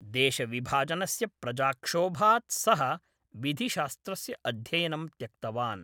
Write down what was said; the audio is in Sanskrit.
देशविभाजनस्य प्रजाक्षोभात् सः विधिशास्त्रस्य अध्ययनं त्यक्तवान्।